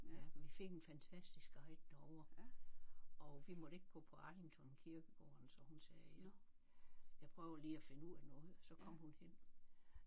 Ja vi fik en fantastisk guide derovre og vi måtte ikke gå på Arlington kirkegården så hun sagde jeg jeg prøver lige at finde ud af noget så kom hun hen